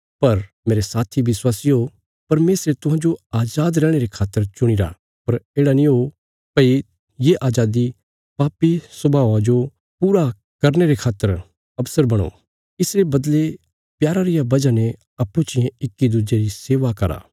पर मेरे साथी विश्वासियो परमेशरे तुहांजो अजाद रैहणे रे खातर चुणीरा पर येढ़ा नीं हो भई ये अजादी पापी स्वभावा जो पूरा जरने रे खातर अवसर बणो इसरे बदले प्यारा रिया वजह ने अप्पूँ चियें इक्की दुज्जे री सेवा करा